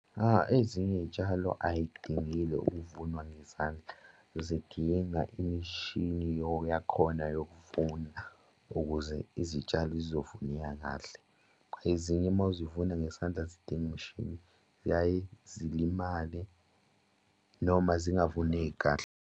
Ezinye iy'tshalo ay'dingile ukuvunwa ngezandla, zidinga imishini yakhona yokuvuna ukuze izitshalo zizovuneka kahle. Ezinye uma uzivuna ngesandla zidinga imishini ziyaye zilimale noma zingavuneki kahle.